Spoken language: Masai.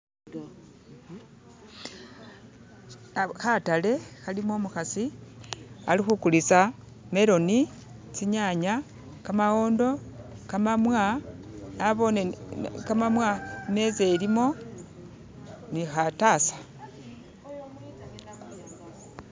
hatale halimo umuhasi ali hukulisa meroni tsinyanya kamawondo kamamwa nabone kamamwa imeza ilimo nihatasa